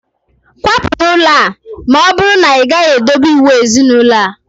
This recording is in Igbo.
Kwapụ n'ụlọ a! na ọbụrụ na ị gaghị edobe iwu ezinaulo a